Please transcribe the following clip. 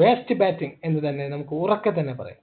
worst batting എന്ന് തന്നെ നമുക്ക് ഉറക്കെ തന്നെ പറയാം